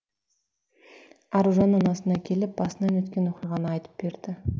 аружан анасына келіп басынан өткен оқиғаны айтып берді